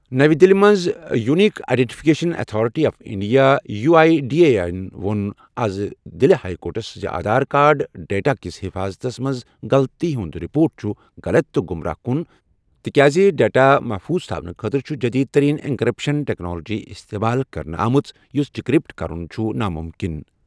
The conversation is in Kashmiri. نٔو Delhi unique identification authority of India U I D A I ووٚن آز دِلہِ ہایی کورٹَس زِ آدھار کارڈ ڈیٹاہٕچ حفاظتَس منٛز غلطی ہٕنٛز رپورٹ چھِ غلط تہٕ گمراہ کن تِکیازِ ڈیٹا محفوظ تھونہٕ خٲطرٕ چھُ جدید ترین اینکریپشن ٹیکنالوجی استعمال کرنہٕ آمٕژ، یُس ڈیکریپٹ کرُن چھُ ناممکن